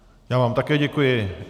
Já vám také děkuji.